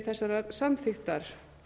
þessarar samþykktar